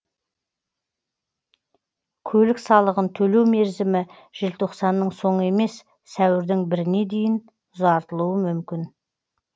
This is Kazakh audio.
көлік салығын төлеу мерзімі желтоқсанның соңы емес сәуірдің біріне дейін ұзартылуы мүмкін